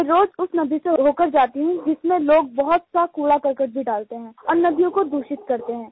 मैं रोज़ उस नदी से हो कर जाती हूँ जिसमें लोग बहुत सा कूड़ाकरकट भी डालते हैं और नदियों को दूषित करते हैं